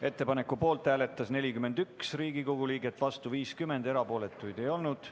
Ettepaneku poolt hääletas 41 Riigikogu liiget, vastu oli 50, erapooletuid ei olnud.